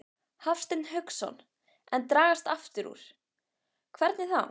Hafsteinn Hauksson: En dragast aftur úr, hvernig þá?